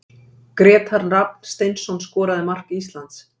Grétar Rafn Steinsson skoraði mark Íslands.